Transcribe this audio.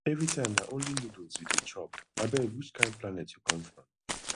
na only noodles you dey chop abeg which kain planet you come from